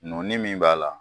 Nɔ min b'a la